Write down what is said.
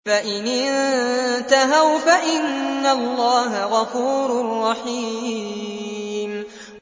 فَإِنِ انتَهَوْا فَإِنَّ اللَّهَ غَفُورٌ رَّحِيمٌ